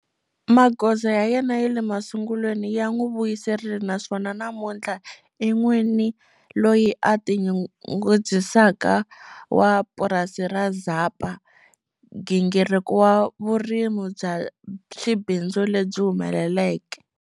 Magoza ya yena ya le masungulweni ya n'wi vuyerisile naswona namuntlha, i n'wini loyi a tinyungubyisaka wa purasi ra Zapa, nghingiriko wa vurimi bya xibindzu lebyi humeleleke.